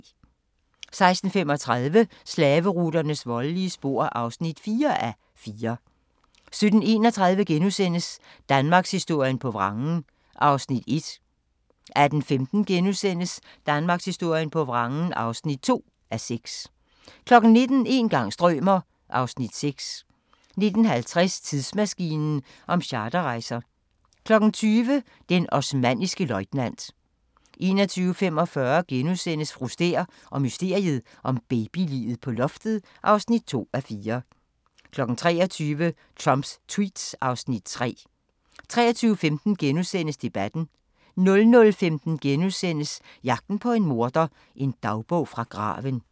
16:35: Slaveruternes voldelige spor (4:4) 17:31: Danmarkshistorien på vrangen (1:6)* 18:15: Danmarkshistorien på vrangen (2:6)* 19:00: Een gang strømer... (Afs. 6) 19:50: Tidsmaskinen om charterrejser 20:00: Den osmanniske løjtnant 21:45: Fru Stæhr og mysteriet om babyliget på loftet (2:4)* 23:00: Trumps tweets (Afs. 3) 23:15: Debatten * 00:15: Jagten på en morder – en dagbog fra graven *